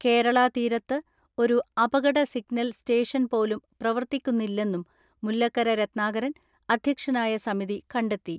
കേരളാ തീരത്ത് ഒരു അപകട സിഗ്നൽ സ്റ്റേഷൻ പോലും പ്രവർത്തിക്കുന്നില്ലെന്നും മുല്ലക്കര രത്നാകരൻ അധ്യക്ഷനായ സമിതി കണ്ടെത്തി.